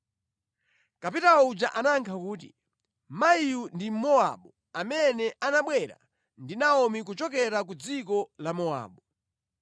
Kapitawo uja anayankha kuti, “Mayiyu ndi Mmowabu amene anabwera ndi Naomi kuchokera ku dziko la Mowabu.